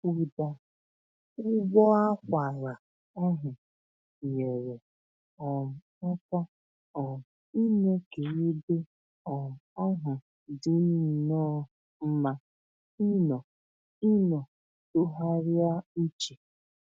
Ụda ụbọakwara ahụ nyere um aka um ime k'ebe um ahụ dịnnọ mma ịnọ ịnọ tụgharịa uche